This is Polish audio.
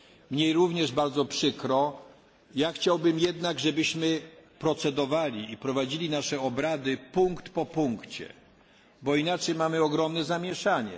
Mnie również bardzo przykro, ja chciałbym jednak, żebyśmy procedowali i prowadzili nasze obrady punkt po punkcie, bo inaczej mamy ogromne zamieszanie.